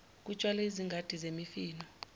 kutshalwe izingadi zemifino